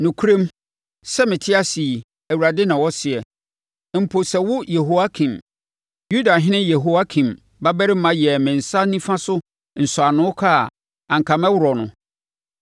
“Nokorɛm, sɛ mete ase yi,” Awurade na ɔseɛ, “Mpo sɛ wo Yehoiakin, Yudahene Yehoiakim babarima yɛɛ me nsa nifa so nsɔano kaa a, anka mɛworɔ wo.